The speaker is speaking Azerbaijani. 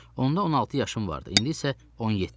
Onda 16 yaşım vardı, indi isə 17-dir.